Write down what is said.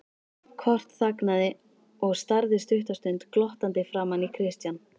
Kort þagnaði og starði stutta stund glottandi framan í Christian.